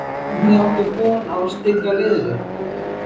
Hvernig áttu von á að stilla liðinu upp?